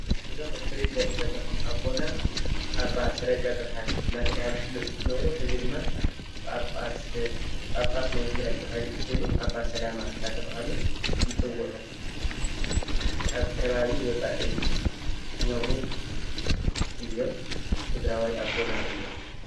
እዞም እትሪእዎም ዘለኹም ኣቦና ኣባ ሰረቀ ብርሃን እናተብሃሉ ዝፍለጡ እንትነብሩ ሕዚ ድማ ጳጳስ ናይ ትግራይ ተባሂሎም ተሰይሞም ኣባ ሰላማ እናተባሃሉ ይፅውዑ። ኣብ ከባቢ ወፃኢ ዝነብሩ እዮም። ትግራዋይ ኣቦና እዮም።